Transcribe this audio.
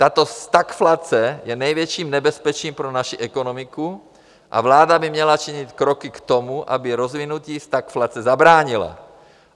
Tato stagflace je největším nebezpečím pro naši ekonomiku a vláda by měla činit kroky k tomu, aby rozvinutí stagflace zabránila.